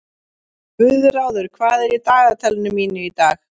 Guðráður, hvað er í dagatalinu mínu í dag?